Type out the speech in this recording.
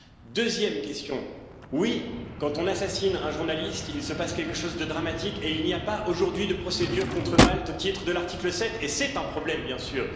La deuxième, oui quand on assassine un journaliste, il se passe quelque chose de dramatique et il n'y a pas aujourd'hui de procédures contre Malte au titre de l'article 7 et c'est un problème bien sûr.